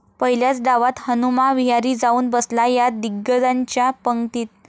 पहिल्याच डावात हनुमा विहारी जाऊन बसला 'या' दिग्गजांच्या पंगतीत